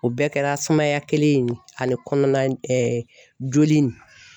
O bɛɛ kɛra sumaya kelen in ye ani kɔnɔna joli nin